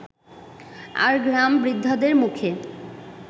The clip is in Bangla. আর গ্রাম-বৃদ্ধাদের মুখে